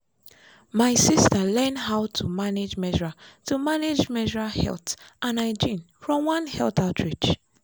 my sister learn how to manage menstrual to manage menstrual health and hygiene from one health outreach.